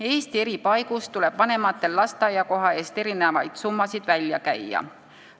Eesti eri paigus tuleb vanematel lasteaiakoha eest erinevaid summasid välja käia.